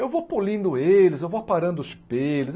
Eu vou polindo eles, eu vou aparando os pelos.